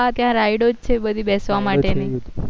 હા ત્યાં ride ઓ છે બધી બેસવા માટે ની